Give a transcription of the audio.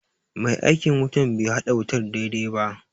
Mai aikin wutan be haɗa wutar daidai ba